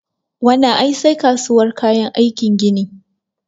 Wannan ai sai kasuwar kayan aikin gini